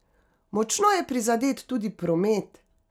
Močno je prizadet tudi promet.